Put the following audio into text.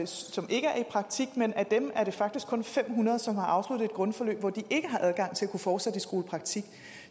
som ikke er i praktik men ud af dem er det faktisk kun fem hundrede som har afsluttet et grundforløb hvor de ikke har adgang til at kunne fortsætte i skolepraktik